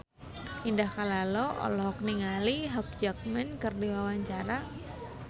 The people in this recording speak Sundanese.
Indah Kalalo olohok ningali Hugh Jackman keur diwawancara